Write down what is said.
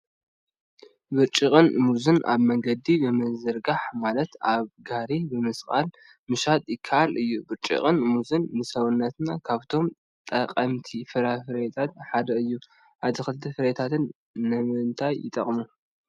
ብርጭቅን ሙዝን አብ መንገዲ ብምዝርጋሕ ማለት አብ ጋሪ ብምስቃል ምሻጥ ይከአል እዩ፡፡ ብርጭቅን ሙዝን ንሰውነትና ካብቶም ጠቀምቲ ፍራምረታት ሓደ እዮም፡፡ አትክልትን ፍራምረታትን ንምንታይ ይጠቅሙና?